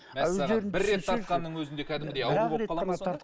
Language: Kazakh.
мәссәған бір рет тартқанның өзінде кәдімгідей ауру болып қалады ма сонда